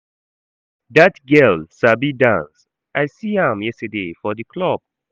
Dat girl sabi dance, I see am yesterday for the club